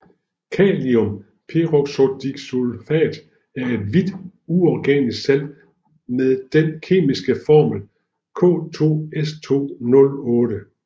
Kaliumperoxodisulfat er et hvidt uorganisk salt med den kemiske formel K2S2O8